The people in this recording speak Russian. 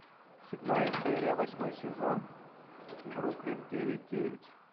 седьмая серия восьмой сезон бруклин девять девять